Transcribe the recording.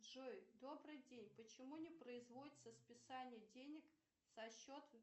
джой добрый день почему не производится списание денег со счета